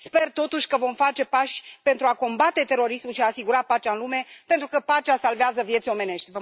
Sper, totuși, că vom face pași pentru a combate terorismul și a asigura pacea în lume, pentru că pacea salvează vieți omenești.